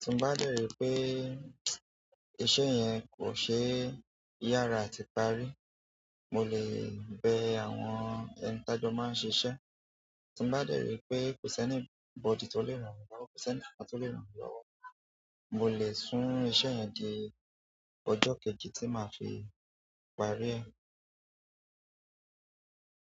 Tí n bá dẹ̀ rí pé iṣẹ́ yẹn kò ṣe é yára àti parí, mo lè bẹ àwọn ẹni tajo máa ń ṣeṣẹ́. Tí n bá dẹ̀ rí pé kò s'anybody tó le ràn mí lọ́wọ́ kò sẹni kankan tó le ràn mí lọ́wọ́, mo lè sún iṣẹ́ yẹn di ọjọ́ kejì tí màá fi parí ẹ.